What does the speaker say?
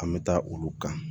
An bɛ taa olu kan